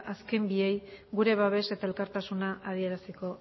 azken biei gure babes eta elkartasuna adieraziko